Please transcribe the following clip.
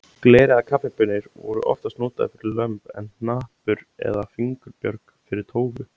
Gler eða kaffibaunir voru oftast notaðar fyrir lömb en hnappur eða fingurbjörg fyrir tófu.